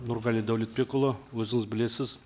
нұрғали дәулетбекұлы өзіңіз білесіз